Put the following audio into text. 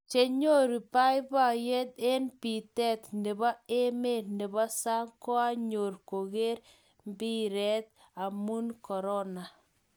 chenyoru baibaiyet eng mbitet nebo emet nebo sang koanyor koker mbiret amun korona